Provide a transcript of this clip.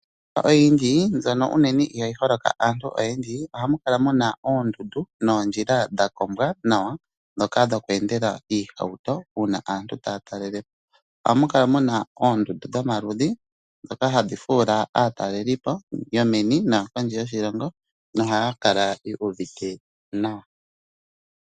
Oyindji mbyono ihayi holoka aantu oyendji ohamu kala muna oondundu noondjila dhakombwa nawa ndhoka dhokweendela iihauto uuna aantu taya talelepo. Ohamu kala muna oondundu dhomaludhi ndhoka hadhi fuula aatalelipo yomeni noyopondje yoshilongo nohaya kala yu uvite nawa.